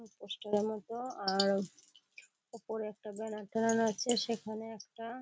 Poster -এর মতো | আর ওপরে একটা ব্যানার টানানো আছে। সেখানে একটা --